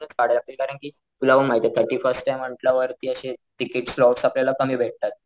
कारण कि तुला पण माहितेय थर्टी फर्स्ट आहे म्हंटल्या वरती अशे तिकिट्स लॉस आपल्याला कमी भेटतात.